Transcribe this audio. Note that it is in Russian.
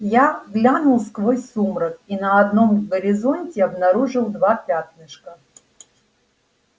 я глянул сквозь сумрак и на одном горизонте обнаружил два пятнышка